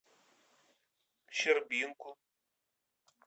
щербинку